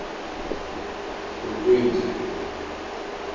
ukwindla